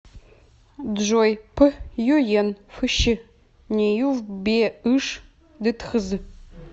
джой п юен фщ неюфбеыш дтхз